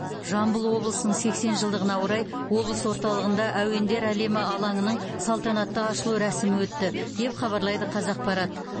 жамбыл облысының сексен жылдығына орай облыс орталығында әуендер әлемі алаңының салтанатты ашылу рәсімі өтті деп хабарлайды қазақпарат